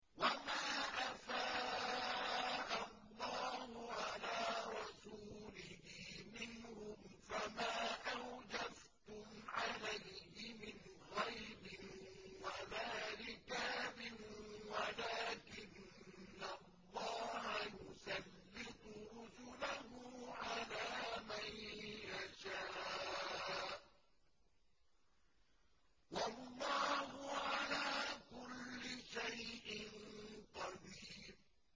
وَمَا أَفَاءَ اللَّهُ عَلَىٰ رَسُولِهِ مِنْهُمْ فَمَا أَوْجَفْتُمْ عَلَيْهِ مِنْ خَيْلٍ وَلَا رِكَابٍ وَلَٰكِنَّ اللَّهَ يُسَلِّطُ رُسُلَهُ عَلَىٰ مَن يَشَاءُ ۚ وَاللَّهُ عَلَىٰ كُلِّ شَيْءٍ قَدِيرٌ